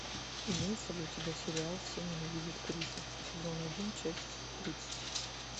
имеется ли у тебя сериал все ненавидят криса сезон один часть тридцать